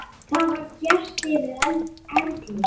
Það var bjart yfir Erlu.